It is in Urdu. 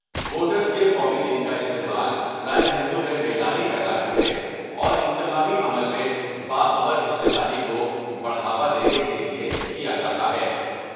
ووٹرس کے قومی دن کا استعمال رائے دہندوں میں بیداری پیدا کر نے اور انتخابی عمل میں باخبر حصہ داری کو بڑھاوا دینے کے لئے کیا جا تا ہے ۔